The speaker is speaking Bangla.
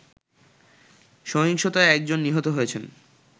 সহিংসতায় একজন নিহত হয়েছেন